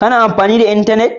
Ka na amfani da intanet